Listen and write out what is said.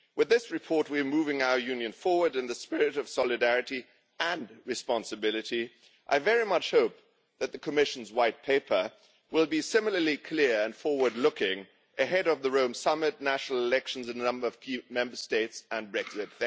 With this report we are moving our Union forward in the spirit of solidarity and responsibility. I very much hope that the Commission's White Paper will be similarly clear and forward looking, ahead of the Rome Summit, national elections in a number of key Member States, and Brexit.